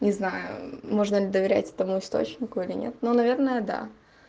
не знаю можно ли доверять этому источнику или нет но наверное да